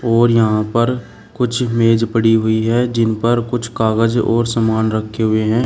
और यहां पर कुछ मेज पड़ी हुई है जिन पर कुछ कागज और सामान रखे हुए हैं।